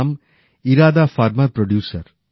নাম Irada farmer producer